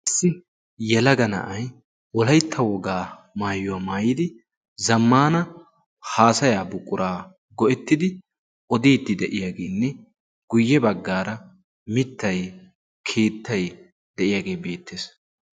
issi yalaga na'ay wolaytta wogaa maayuwaa maayidi zammaana haasaya buqquraa go'ettidi odiiti de'iyaageenne guyye baggaara mittai keettay de'iyaagee beettees